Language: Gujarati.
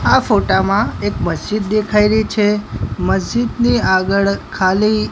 આ ફોટા માં એક મસ્જિદ દેખાય રહી છે મસ્જિદની આગળ ખાલી--